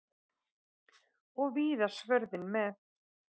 Og víða svörðinn með.